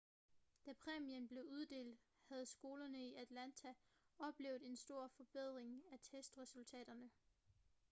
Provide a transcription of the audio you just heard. da præmien blev uddelt havde skolerne i atlanta oplevet en stor forbedring af testresultaterne